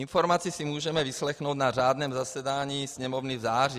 Informaci si můžeme vyslechnout na řádném zasedání Sněmovny v září.